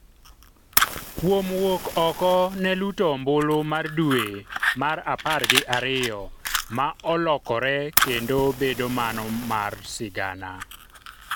kuom wuok oko ne luto ombulu mar dwe mar apar gi ariyo ma olokore kendo bedo mano mar sigana